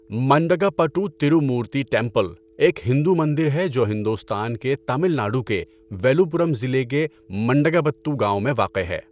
Mandagapattu Tirumurti temple ایک ہندو مندر ہے جو ہندوستان کے تامل ناڈو کے ویلوپورم ضلع کے منڈگپتو گاؤں میں واقع ہے۔